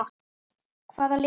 Hvaða lið er það?